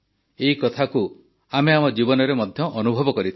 ଏ କଥାକୁ ଆମେ ଆମ ଜୀବନରେ ମଧ୍ୟ ଅନୁଭବ କରିଥାଉ